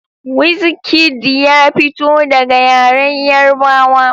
Wizkid ya fito daga yaren Yarbawa.